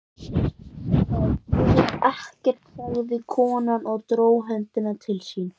Það gerir ekkert, sagði konan og dró höndina til sín.